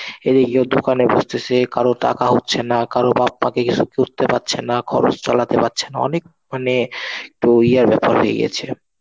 এইদিকে কেও দোকানে বসতেছে, কারও টাকা হচ্ছে না, কারো বাপ মাকে কিছু কিনতে পারছে না, খরচ চালাতে পারছে না, অনেক মানে ব্যাপার হয়ে গেছে.